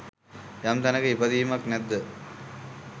යම් තැනක ඉපදීමක් නැද්ද